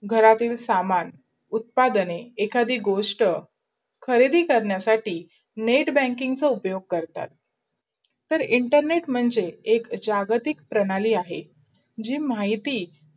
घरातील समान, उत्पढणे, एखादि गोष्ट खरीदी कारणासाठी net banking चा उपयोग करतात. तर internet म्हणजे एक जागतिक प्रणालाय अहे. जे माहिती